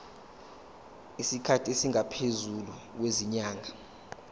isikhathi esingaphezulu kwezinyanga